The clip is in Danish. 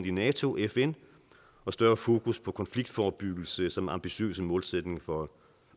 i nato fn og større fokus på konfliktforebyggelse samt ambitiøse målsætninger for